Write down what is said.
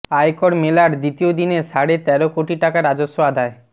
আয়কর মেলার দ্বিতীয় দিনে সাড়ে তের কোটি টাকা রাজস্ব আদায়